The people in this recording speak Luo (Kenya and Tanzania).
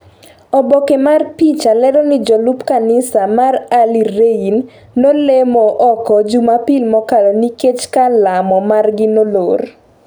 oboke mar picha lero ni jolup kanisa mar Early rain nolemo oko jumapil mokalo nikech kar lamo margi nolor.